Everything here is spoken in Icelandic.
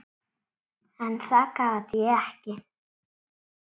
En það gat ég ekki.